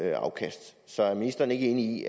et afkast så er ministeren ikke enig i